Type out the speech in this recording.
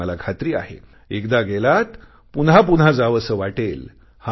आणि मला खात्री आहे एकदा गेलात पुन्हापुन्हा जावंसे वाटेल